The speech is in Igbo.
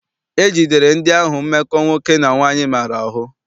E jidere ndị ahụ mmekọ nwoke na nwaanyị maara ahụ.